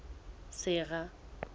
sera